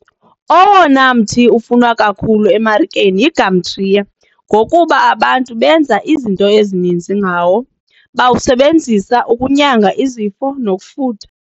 Owona mthi ufunwa kakhulu emarikeni yigamtriya ngokuba abantu benza izinto ezininzi ngawo, bawusebenzisa ukunyanga izifo nokufutha.